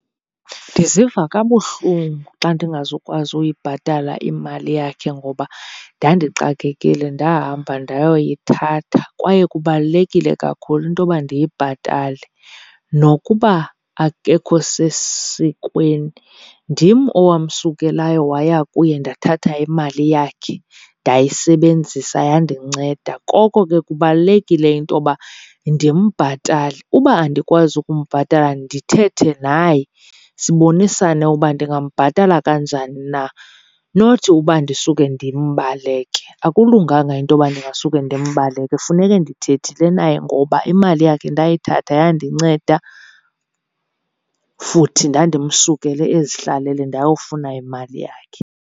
Ndiziva kabuhlungu xa ndingazukwazi uyibhatala imali yakhe ngoba ndandixakekile ndahamba ndayoyithatha, kwaye kubalulekile kakhulu intoba ndiyibhatale. Nokuba akekho sesikweni, ndim owamsukelayo waya kuye ndathatha imali yakhe ndayisebenzisa yandinceda, koko ke kubalulekile intoba ndimbhatale. Uba andikwazi ukumbhatala ndithethe naye sibonisane uba ndingambhatala kanjani na not uba ndisuke ndimbaleke. Akulunganga intoba ndingasuke ndimbaleke, funeke ndithethile naye ngoba imali yakhe ndayithatha yandinceda futhi ndandimsukele ezihlalele ndayofuna imali yakhe.